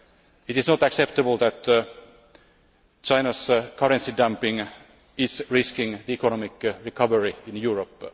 It is not acceptable that China's currency dumping is risking the economic recovery in Europe.